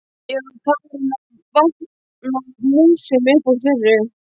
Ég var farin að vatna músum upp úr þurru!